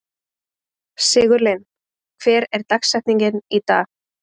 Sigurlinn, hver er dagsetningin í dag?